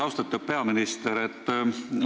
Austatud peaminister!